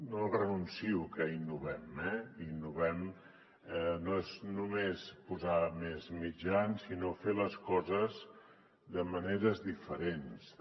no renuncio a que innovem eh innovar no és només posar més mitjans sinó fer les coses de maneres diferents també